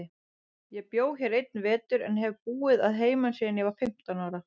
Ég bjó hér einn vetur, en hef búið að heiman síðan ég var fimmtán ára.